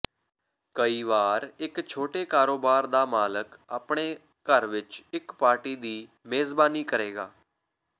ਕਈ ਵਾਰ ਇੱਕ ਛੋਟੇ ਕਾਰੋਬਾਰ ਦਾ ਮਾਲਕ ਆਪਣੇ ਘਰ ਵਿੱਚ ਇੱਕ ਪਾਰਟੀ ਦੀ ਮੇਜ਼ਬਾਨੀ ਕਰੇਗਾ